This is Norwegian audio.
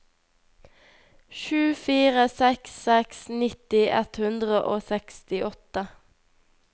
sju fire seks seks nitti ett hundre og sekstiåtte